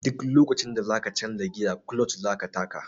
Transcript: Duk lokacin da za ka canja giya kuloc za ka taka.